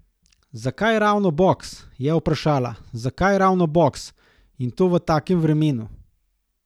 Zakaj ravno boks, je vprašala, zakaj ravno boks, in to v takem vremenu.